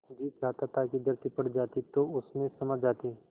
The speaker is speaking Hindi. जी चाहता था कि धरती फट जाती तो उसमें समा जाती